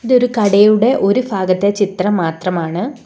ഇത് ഒരു കടയുടെ ഒരു ഫാഗത്തെ ചിത്രം മാത്രമാണ്.